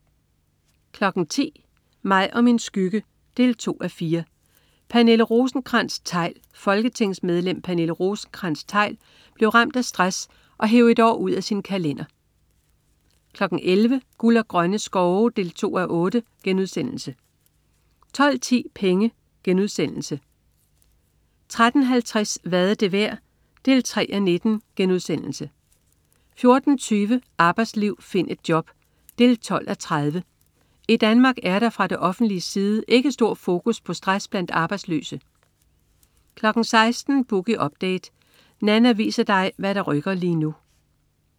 10.00 Mig og min skygge 2:4. Pernille Rosenkrantz-Theil. Folketingsmedlem Pernille Rosenkrantz-Theil blev ramt af stress og hev et år ud af sin kalender 11.00 Guld og Grønne Skove 2:8* 12.10 Penge* 13.50 Hvad er det værd? 3:19* 14.20 Arbejdsliv. Find et job 12:30. I Danmark er der fra det offentliges side ikke stor fokus på stress blandt arbejdsløse 16.00 Boogie Update. Nanna viser dig hvad der rykker lige nu